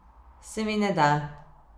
Se mi ne da.